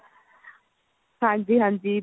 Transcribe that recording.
ਹਾਂਜੀ ਹਾਂਜੀ